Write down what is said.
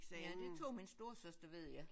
Ja det tog min storesøster ved jeg